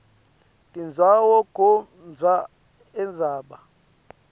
tindzawo kodvwa indzaba